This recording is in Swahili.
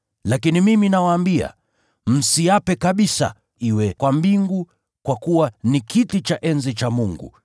Lakini mimi nawaambia, msiape kabisa: iwe kwa mbingu, kwa kuwa ni kiti cha enzi cha Mungu;